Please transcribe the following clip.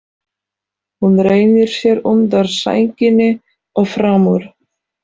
Hún rennir sér undan sænginni og fram úr.